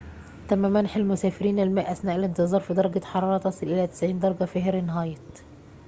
تم منح المسافرين الماء أثناء الانتظار في درجة حرارة تصل إلى 90 درجة فهرنهايت